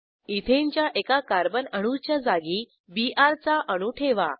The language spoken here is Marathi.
इथेन च्या एका कार्बन अणूच्या जागी बीआर चा अणू ठेवा